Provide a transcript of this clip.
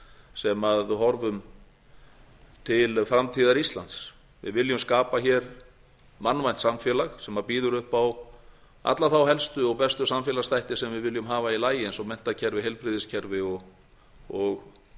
sem horfum til framtíðar íslands við viljum skapa hér mannvænt samfélag sem býður upp á alla þá helstu og bestu samfélagsþætti sem við viljum hafa í lagi eins og menntakerfi heilbrigðiskerfi og